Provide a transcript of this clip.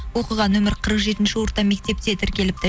оқыған нөмірі қырық жетінші орта мектепте тіркеліпті